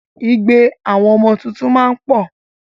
Igbe àwọn ọmọ tuntun máa ń pọ̀